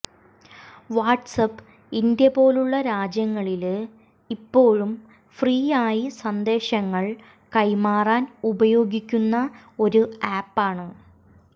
WhatsApp India പോലുള്ള രാജ്യങ്ങളില് ഇപ്പോഴും ഫ്രീയായി സന്ദേശങ്ങൾ കൈമാറാൻ ഉപയോഗിക്കുന്ന ഒരു ആപ്പാണ്